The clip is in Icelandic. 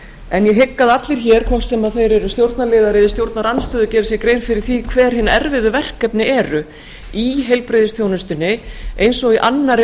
en ég hygg að allir hér hvort sem þeir eru stjórnarliðar eða í stjórnarandstöðu geri sér grein fyrir því hver hin erfiðu verkefni eru í heilbrigðisþjónustunni eins og í annarri